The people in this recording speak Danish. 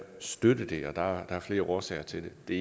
støtte det der er flere årsager til det